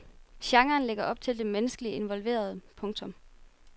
Genren lægger op til det menneskeligt involverede. punktum